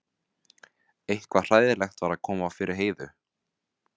Eitthvað hræðilegt var að koma fyrir Heiðu.